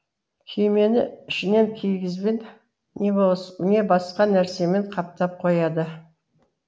күймені ішінен киізбен не басқа нәрсемен қаптап қояды